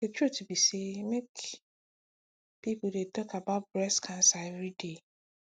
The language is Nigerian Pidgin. the truth be say make people dey talk about breast cancer everyday